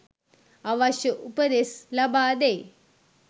අවශ්‍ය උපදෙස් ලබාදෙයි.